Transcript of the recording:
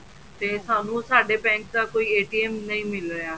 ਤੇ ਸਾਨੂੰ ਸਾਡੇ bank ਦਾ ਕੋਈ ਨਹੀਂ ਮਿਲ ਰਿਹਾ